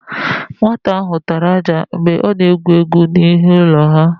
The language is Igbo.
Nwata áhụ̀ tara ájá mgbe ọ na-egwu égwú n'ihu ụlọ ha.